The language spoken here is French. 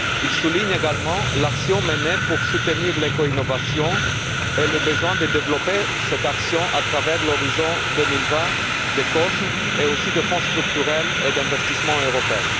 Il souligne également l'action menée pour soutenir l'éco innovation et le besoin de développer cette action au travers d'Horizon 2020, de COSME et aussi des Fonds structurels et d'investissement européen.